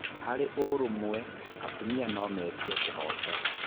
Harĩ ũrũmwe, atumia no metie kĩhooto.